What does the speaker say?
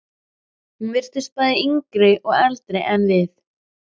Hún virtist bæði yngri og eldri en við.